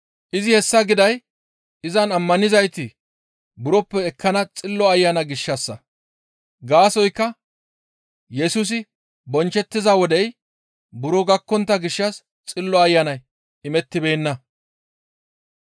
Izi hessa giday izan ammanizayti buroppe ekkana Xillo Ayana gishshassa; gaasoykka Yesusi bonchchettiza wodey buro gakkontta gishshas Xillo Ayanay imettibeenna.